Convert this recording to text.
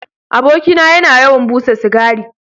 Abokina yana yawan busa cigari.